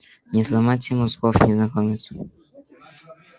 не сломайте ему зубов незнакомец